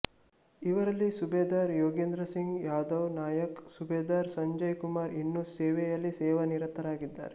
ಇವರಲ್ಲಿ ಸುಬೇದಾರ್ ಯೋಗೇಂದ್ರ ಸಿಂಗ್ ಯಾದವ್ ನಾಯಕ್ ಸುಬೇದಾರ್ ಸಂಜಯ್ ಕುಮಾರ್ ಇನ್ನು ಸೇನೆಯಲ್ಲಿ ಸೇವಾ ನಿರತರಾಗಿದ್ದಾರೆ